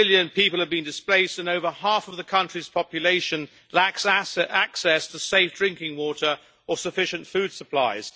Two million people have been displaced, and over half of the country's population lacks access to safe drinking water or sufficient food supplies.